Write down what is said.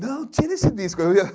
Não, tira esse disco! Eu ia